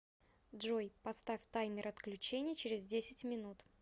джой поставь таймер отключения через десять минут